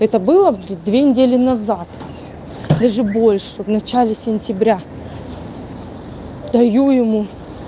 это было в две недели назад даже больше в начале сентября даю ему